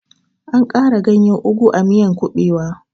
Ana ƙara ganyen ogu a miyan kuɓewa